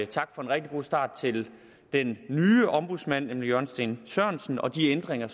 tak for en rigtig god start til den nye ombudsmand nemlig jørgen steen sørensen og de ændringer